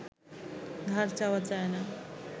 ধার চাওয়া যায় না